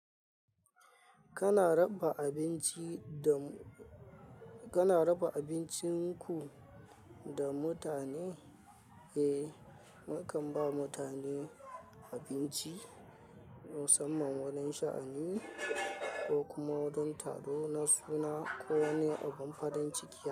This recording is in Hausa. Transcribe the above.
Kana raba abinci da mu-- kana raba abincin ku da mutane? Eh, mu kan ba mutane abinci, musamman wajen sha'ani ko kuma wajen taro na suna ko wani abin farin ciki.